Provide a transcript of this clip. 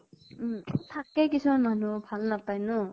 থাকে কিছুমান মানুহ, ভাল নাপাই ন ?